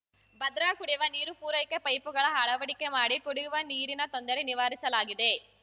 ಭದ್ರಾ ಕುಡಿವ ನೀರು ಪೂರೈಕೆ ಪೈಪುಗಳ ಅಳವಡಿಕೆ ಮಾಡಿ ಕುಡಿಯುವ ನೀರಿನ ತೊಂದರೆ ನಿವಾರಿಸಲಾಗಿದೆ